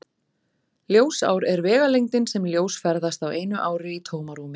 Ljósár er vegalengdin sem ljós ferðast á einu ári í tómarúmi.